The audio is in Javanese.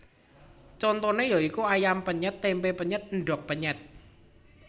Contoné ya iku ayam penyèt tempé penyèt endhog penyèt